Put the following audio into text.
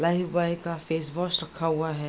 Lifebuoy का wash वाश रखा हुआ है।